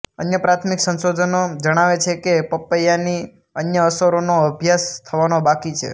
અન્ય પ્રાથમિક સંશોધનો જણાવે છે કે પપૈયાંની અન્ય અસરોનો અભ્યાસ થવાનો બાકી છે